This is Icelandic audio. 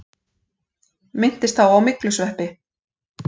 Minntist þá á myglusveppi.